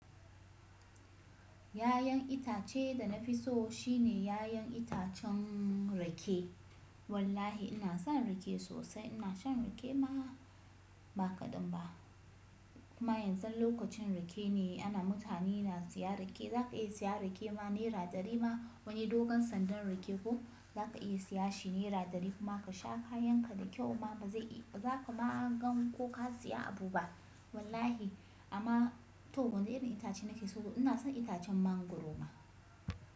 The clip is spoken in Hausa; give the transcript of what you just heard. Yayan itace da na fi so shine yayan itacen rake. Wallahi ina son rake sosai. Ina shan rake ma ba kaɗan ba. Kuma yanzu lokacin rake ne ana mutane na siya rake. Za ka iya siya rake ma naira ɗari ma wani dogon sandan rake ko za ka iya siya shi naira ɗari kuma ka sha ka yanka da kyau ma ba zai ba za ka ma gan ko ka siya abu ba wallahi. Amma to wani irin itace nake so ina son itacen mangwaro ma.